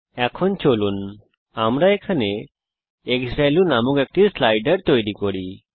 এখন চলুন আমরা এখানে ক্সভ্যালিউ নামক একটি স্লাইডার তৈরী করি